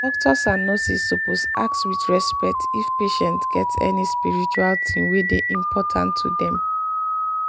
doctors and nurses suppose ask with respect if patient get any spiritual thing wey dey important to them.